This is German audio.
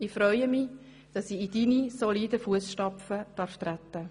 Ich freue mich, dass ich in deine soliden Fusstapfen treten darf.